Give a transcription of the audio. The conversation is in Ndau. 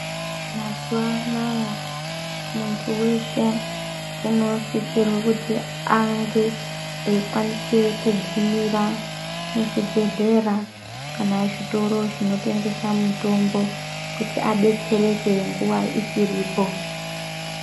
Mazuva anaya muntu weshe, unosisirwe kuti ange eikwanisa kugumira muzvibhedhlera kana zvitoro zvinotengesa mutombo kuti adetsereke nguva ichiripo.